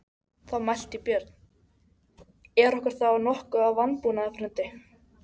Í undirbúningi sínum fyrir ferðina þurfti Sævar að útrétta heilmikið.